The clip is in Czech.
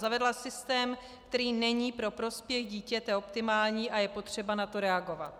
Zavedla systém, který není pro prospěch dítěte optimální, a je potřeba na to reagovat.